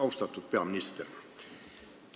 Asutatud peaminister!